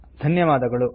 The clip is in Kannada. ಧನ್ಯವಾದಗಳು